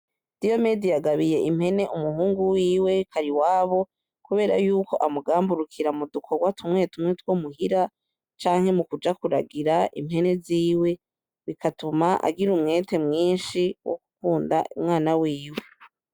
Diyomedi yagabiye impene umuhungu wiwe Kariwabo, kubera yuko amugamburukira mu dukorwa tumwe tumwe two muhira canke mukuja kuragira impene ziwe, bigatuma agira umwete mwinshi wo gukunda umwana wiwe.